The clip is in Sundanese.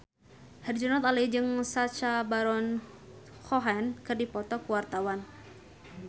Herjunot Ali jeung Sacha Baron Cohen keur dipoto ku wartawan